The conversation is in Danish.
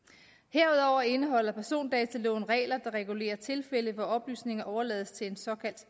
herudover indeholder persondataloven regler der regulerer tilfælde hvor oplysninger overlades til en såkaldt